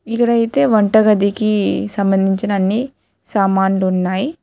ఇదైతే వంటగదికి సంబంధించిన అన్ని సామాన్లు ఉన్నాయి.